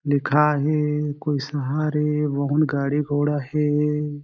लिखाये हें कोई शहर ए बहुत गाड़ी-घोड़ा हें।